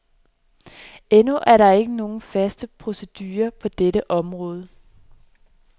Endnu er der ikke nogen fast procedure på dette område.